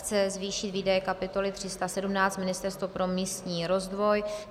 Chce zvýšit výdaje kapitoly 317 Ministerstvo pro místní rozvoj.